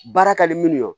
Baara ka di minnu ye